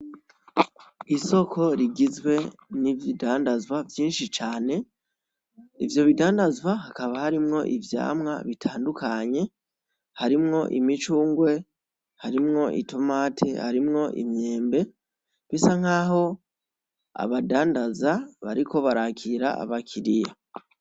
Isoko rigizwe n'ibidandazwa vyinshi cane, ivyo bidadanzwa hakaba harimwo Ivyamwa bitandukanye harimwo imicungwe, harimwo itomati, harimwo Imyembe, bisa nkaho abadandaza bariko barakira abakiriya.